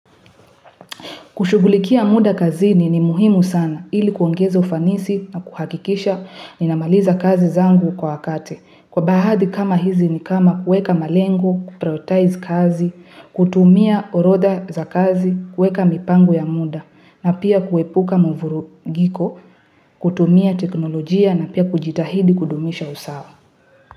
Kushughulikia muda kazini ni muhimu sana, ili kuongeza ufanisi na kuhakikisha nina maliza kazi zangu kwa wakati. Kwa baadhi kama hizi ni kama kuweka malengo, kuprioritize kazi, kutumia orodha za kazi, kuweka mipango ya muda, na pia kwepuka muvurugiko, kutumia teknologia na pia kujitahidi kudumisha usawa.